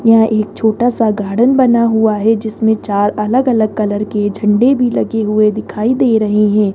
यह एक छोटा सा गार्डेन बना हुआ है जिसमें चार अलग अलग कलर के झंडे भी लगे हुए दिखाई दे रहे है।